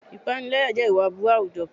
Ìpániláyà jẹ́ ìwà aburú àwùjọ kan.